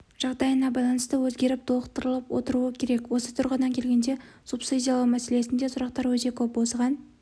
жағдайына байланысты өзгеріп толықтырылып отыруы керек осы тұрғыдан келгенде субсидиялау мәселесінде сұрақтар өте көп осыған